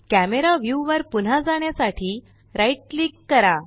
camera view वर पुन्हा जाण्यासाठी राइट क्लिक करा